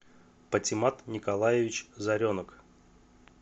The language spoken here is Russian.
патимат николаевич заренок